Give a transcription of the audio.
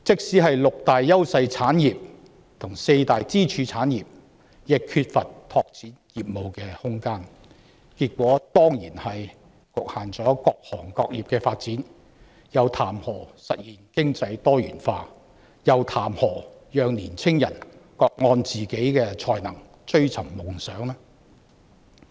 連六大優勢產業及四大支柱行業也缺乏拓展業務的空間，結果當然是各行各業的發展均遭到局限，又談何實現經濟多元化，又談何讓青年人各按自己的才能追尋夢想呢？